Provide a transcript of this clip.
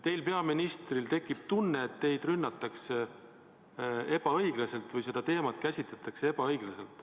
" Teil, peaministril, on tekkinud tunne, et teid rünnatakse ebaõiglaselt või seda teemat käsitletakse ebaõiglaselt.